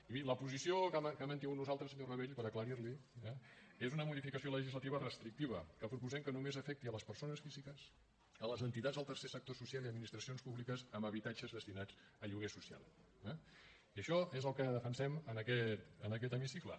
i miri la posició que hem mantingut nosaltres senyor rabell per aclarir l’hi és una modificació legislativa restrictiva que proposem que només afecti les persones físiques les entitats del tercer sector social i administracions públiques amb habitatges destinats a lloguer social eh i això és el que defensem en aquest hemicicle